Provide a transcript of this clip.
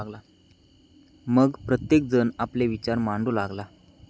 मग प्रत्येक जण आपले विचार मांडू लागला.